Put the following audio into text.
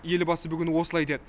елбасы бүгін осылай деді